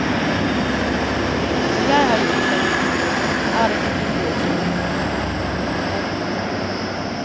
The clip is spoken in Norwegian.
Når jeg har gjort en bok er det kapittelet slutt. punktum